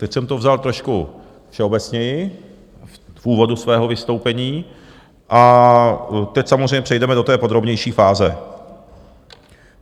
Teď jsem to vzal trošku všeobecněji v úvodu svého vystoupení a teď samozřejmě přejdeme do té podrobnější fáze.